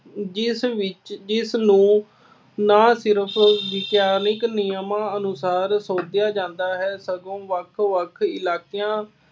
ਜਿਸ ਵਿੱਚ ਇਸਨੂੰ ਨਾ ਸਿਰਫ ਵਿਗਿਆਨਕ ਨਿਯਮਾਂ ਅਨੁਸਾਰ ਸੋਧਿਆਂ ਜਾਂਦਾ ਹੈ ਸਗੋਂ ਵੱਖ ਵੱਖ ਇਲਾਕਿਆਂ